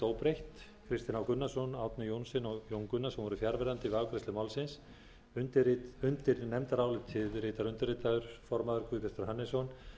óbreytt kristinn h gunnarsson árni johnsen og jón gunnarsson voru fjarverandi við afgreiðslu málsins undir nefndarálitið ritar undirritaður guðbjartur hannesson